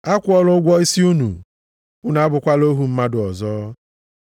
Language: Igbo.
Akwụọla ụgwọ isi unu, unu abụkwala ohu mmadụ ọzọ.